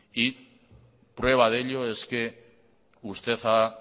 prueba de ello es que usted ha